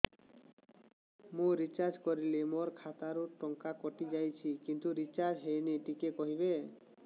ମୁ ରିଚାର୍ଜ କରିଲି ମୋର ଖାତା ରୁ ଟଙ୍କା କଟି ଯାଇଛି କିନ୍ତୁ ରିଚାର୍ଜ ହେଇନି ଟିକେ କହିବେ